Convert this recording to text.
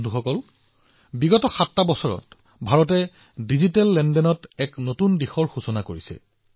বন্ধুসকল এই ৭ বছৰত ভাৰতে ডিজিটেল লেনদেনত বিশ্বক এক নতুন দিশ দেখুৱাবলৈ কাম কৰিছে